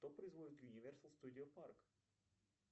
кто производит юниверсал студио парк